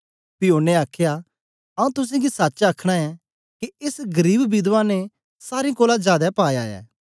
पी ओनें आखया आऊँ तुसेंगी सच आखना ऐं के एस गरीब विधवा ने सारें कोलां जादै पाया ऐ